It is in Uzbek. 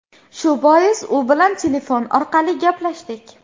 Shu bois u bilan telefon orqali gaplashdik.